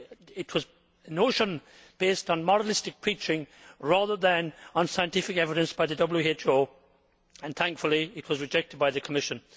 It was a notion based on moralistic preaching rather than on scientific evidence by the WHO and, thankfully, it was rejected by the Commission.